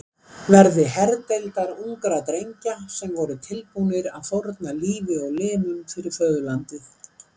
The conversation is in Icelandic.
verði herdeildar ungra drengja sem voru tilbúnir að fórna lífi og limum fyrir föðurlandið.